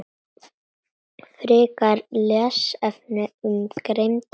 Frekari lesefni um greind hrafna